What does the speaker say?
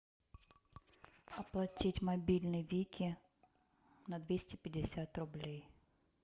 оплатить мобильный вики на двести пятьдесят рублей